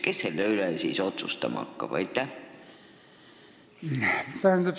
Kes selle üle otsustama hakkab?